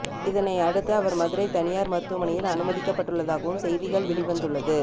இதனை அடுத்து அவர் மதுரை தனியார் மருத்துவமனையில் அனுமதிக்கப்பட்டுள்ளதாகவும் செய்திகள் வெளிவந்துள்ளது